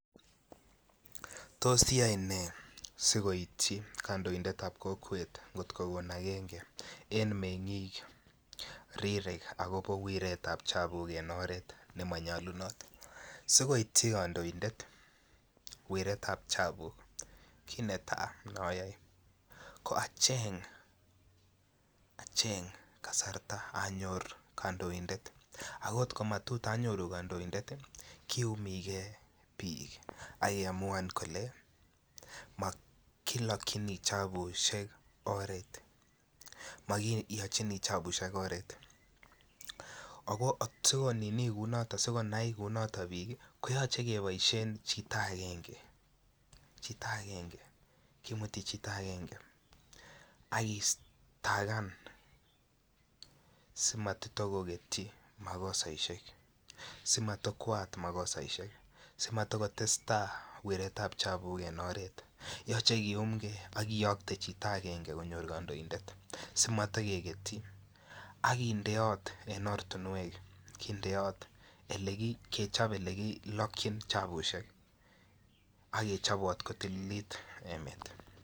Tos iyoe ne si koityi kandoindet ab kokwet ngot ko kon agenge en mengik rirek agobo wirtaetab chapuk en oret Nemo nyolunot si koityi kandoindet wirtaetab chapuk ii kit netai ne ayoe ko acheng kasarta anyor kandoindet ako angot komanyoru kandoindet kiyumi ge bik ak keamuan kele kilokyini chapusiek en oret ago asikonai kou noton bik ko nyolu keboisien chito agenge ak kesitagan si matitakoketyi makosaisiek asi Mata kotestai wirtaetab chapuk en oret yochei kiyumge ak kiyokte chito agenge konyor kandoindet asi mata keketyi ak kechob en ortinwek Ole kilokyini chapusiek ak kechob kotililt emet